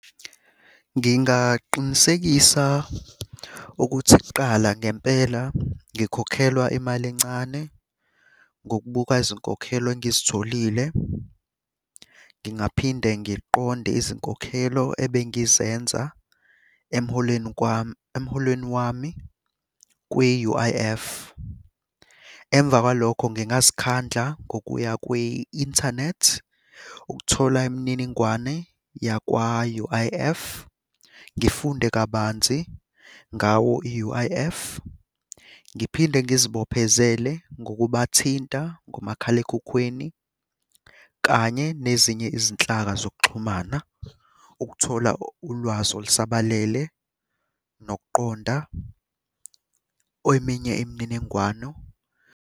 Ngingaqinisekisa ukuthi kuqala ngempela ngikhokhelwa imali encane, ngokubuka izinkokhelo engizitholile. Ngingaphinde ngiqonde izinkokhelo ebengizenza emholweni kwami, emholweni wami kwi-U_I_F. Emva kwalokho ngingazikhandla ngokuya kwi-inthanethi ukuthola imininingwane yakwa-U_I_F. Ngifunde kabanzi ngawo i-U_I_F. Ngiphinde ngizibophezele ngokubathinta ngomakhalekhukhwini, kanye nezinye izinhlaka zokuxhumana. Ukuthola ulwazi olusabalele nokuqonda eminye imininingwano.